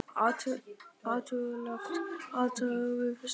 Hættulegt athæfi við Fiskislóð